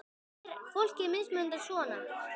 Af hverju er fólki mismunað svona?